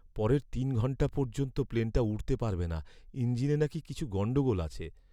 পরের তিন ঘণ্টা পর্যন্ত প্লেনটা উড়তে পারবে না। ইঞ্জিনে নাকি কিছু গণ্ডগোল আছে।